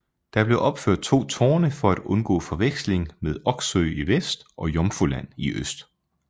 Der blev opført to tårne for at undgå forveksling med Oksøy i vest og Jomfruland i øst